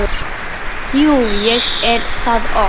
Jú, ég er það oft.